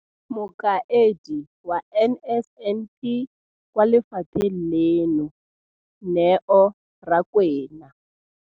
Mokaedi wa NSNP kwa lefapheng leno, Neo Rakwena,